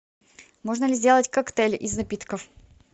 можно ли сделать коктейль из напитков